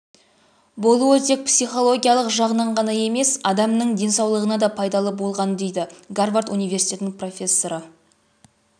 болуы тек психологиялық жағынан ғана емес адамның денсаулығына да пайдалы болғаны дейді гарвард университетінің профессоры